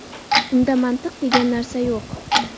Unda mantiq degan narsa yo‘q.